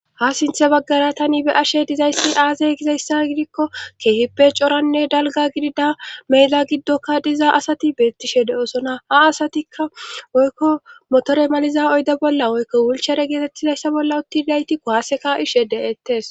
ha sinthe baggara tani be'ashe dizayssi aazee gizayssa gidikko keehippe coranne dalga gidida meeda giddokka diza asati beettishe de'osona ha asatikka woykko motore maliza oyda bolla woykko wulchare geetettizayssa bolla utti didayti kuwaase ka'ishe de'ettes